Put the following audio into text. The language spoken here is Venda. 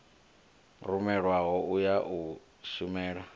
rumelwaho u ya u shumela